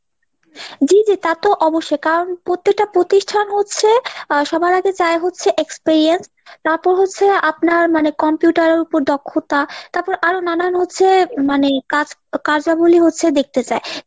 জি জি তা তো অবশ্যই , কারণ প্রত্যেকটা প্রতিষ্ঠান হচ্ছে আহ সবার আগে চায় হচ্ছে experience তারপর হচ্ছে আপনার মানে computer এর উপর দক্ষতা তারপরে আরো নানান হচ্ছে মানে কাজ~ কার্যাবলী হচ্ছে দেখতে চায়।